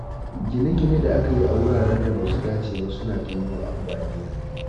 Gine-ginen da aka yi a wuraren da ba su dace ba suna janyo ambaliya.